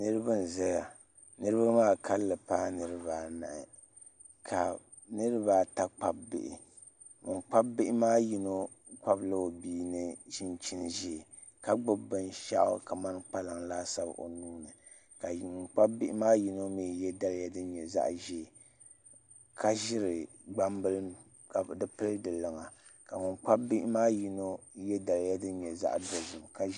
Niraba n ʒɛya niraba maa kanli paai niraba anahi ka niraba ata kpabi bihi bin kpabi bihi maa ni yino kpabila o bia ni chinchin ʒiɛ ka gbubi binshaɣu kamani kpalaŋ laasabu o nuuni ka bin kpabi bihi maa yino mii yɛ daliya din nyɛ zaɣ ʒiɛ ka ʒiri gbambila ka di pili di luŋa ka bin kpabi bihi maa ni yino yɛ daliya zaɣ dozim